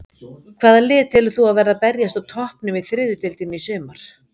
Hvaða lið telur þú að verði að berjast á toppnum í þriðju deildinni í sumar?